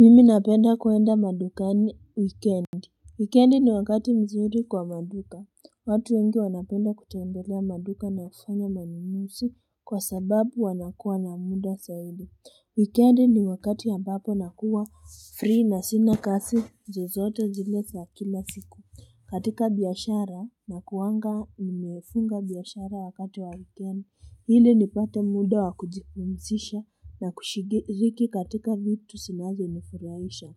Mimi napenda kuenda madukani wikendi. Wikendi ni wakati mzuri kwa maduka watu wengi wanapenda kutembelea maduka na kufanya manunuzi kwa sababu wanakuwa na muda zaidi Wikendi ni wakati ambapo nakuwa free na sina kazi zozote zile za kila siku katika biashara nakuwanga nimefunga biashara wakati wa weekend ili nipate muda wakujipumzisha na kushiriki katika vitu zinazo nifurahisha